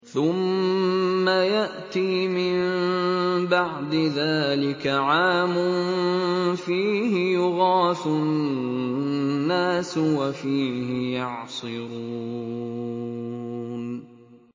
ثُمَّ يَأْتِي مِن بَعْدِ ذَٰلِكَ عَامٌ فِيهِ يُغَاثُ النَّاسُ وَفِيهِ يَعْصِرُونَ